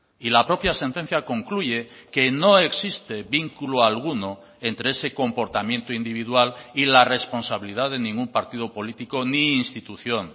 y la propia sentencia concluye que no existe vínculo alguno entre ese comportamiento individual y la responsabilidad de ningún partido político ni institución